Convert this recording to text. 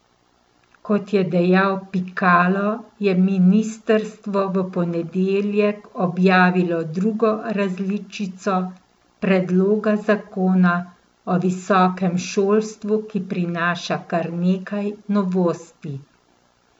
Kot je dejal Pikalo, je ministrstvo v ponedeljek objavilo drugo različico predloga zakona o visokem šolstvu, ki prinaša kar nekaj novosti.